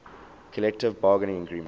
collective bargaining agreement